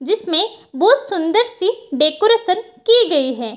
जिसमें बहोत सुंदर सी डेकोरेशन की गई है।